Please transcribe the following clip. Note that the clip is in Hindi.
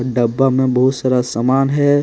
डब्बा में बहुत सारा सामान है।